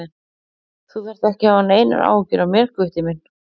Þú þarft ekki að hafa neinar áhyggjur af mér, Gutti minn.